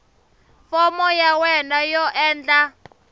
fomo ya wena yo endla